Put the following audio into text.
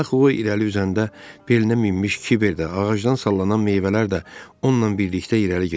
Axı o irəli üzəndə belinə minmiş kiverdə, ağacdan sallanan meyvələr də onunla birlikdə irəli gedirdi.